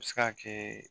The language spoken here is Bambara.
A bɛ se ka kɛ